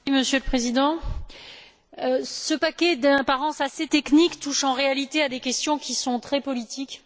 Monsieur le Président, ce paquet d'apparence assez technique touche en réalité à des questions très politiques.